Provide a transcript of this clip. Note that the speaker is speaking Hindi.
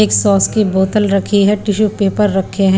एक सॉस की बोतल रखी है टिशू पेपर रखे हैं।